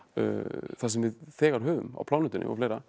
það sem við þegar höfum á plánetunni og fleira